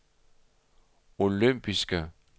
olympiske